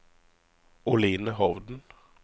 Oline Hovden